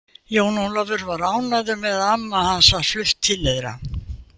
Jón Ólafur var ánægður með að amma hans var flutt til þeirra.